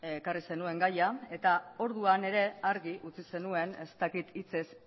ekarri zenuen gaia eta orduan ere argi utzi zenuen ez dakit hitzez